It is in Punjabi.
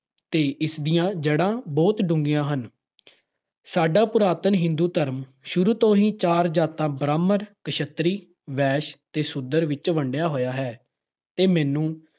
ਤੇ ਇਸ ਦੀਆਂ ਜੜ੍ਹਾਂ ਬਹੁਤ ਡੂੰਘੀਆਂ ਹਨ। ਸਾਡਾ ਪੁਰਾਤਨ ਹਿੰਦੂ ਧਰਮ ਸ਼ੁਰੂ ਤੋਂ ਹੀ ਚਾਰ ਜਾਤਾਂ - ਬ੍ਰਾਹਮਣ, ਕਸ਼ੱਤਰੀ, ਵੈਸ਼ ਤੇ ਸ਼ੂਦਰ ਵਿੱਚ ਵੰਡਿਆ ਹੋਇਆ ਹੈ ਤੇ ਮਨੂੰ